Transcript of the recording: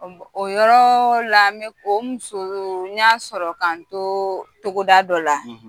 O yɔrɔ la o muso n y'a sɔrɔ ka n to togoda dɔ la,